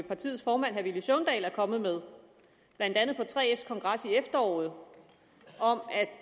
partiets formand herre villy søvndal er kommet med blandt andet på 3fs kongres i efteråret om